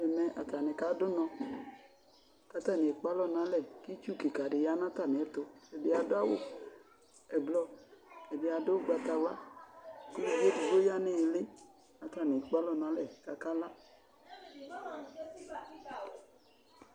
Ɛmɛ atani kadu ʋnɔ, kʋ atani ekpe alɔ nalɛ kʋ itsu kika di ya nʋ atami ɛtʋ Ɛdɩ adʋ awʋ ɛblɔ, ɛdɩ adu ugbatawla Uluvi edgbo du ya nʋ ili, kʋ atani ekpe alɔ n'alɛ, kʋ akala